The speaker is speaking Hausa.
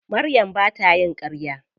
Maryam ba ta yin ƙarya.